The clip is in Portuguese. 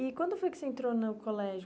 E quando foi que você entrou no colégio?